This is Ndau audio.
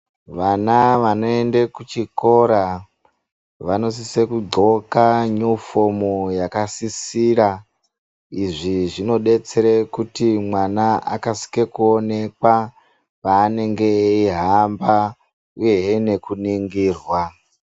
Vana vanoende kuchikora ,vanosise kudxoka nyufomu yakasisira. Izvi zvinodetsere kuti mwana akasike kuonekwa, paanenge eyihamba, uyehe nekuningirwa.